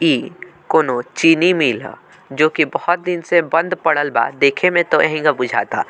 इ कोनो चीनी मिल ह जो की बहोत दिन से बंद पड़ल बा देखे में तो ऐहंग बुझाता।